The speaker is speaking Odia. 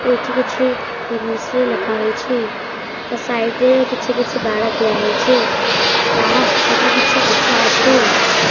ଏଇଠି କିଛି ଇଂଲିଶ ରେ ଲେଖା ହେଇଛି ତା ସାଇଟ୍ ରେ କିଛି କିଛି ବାଡ଼ ଦିଆ ହେଇଛି ବାଡ଼ ସେପଟେ କିଛି ଗଛ ଅଛି।